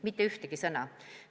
Mitte ühtegi sõna!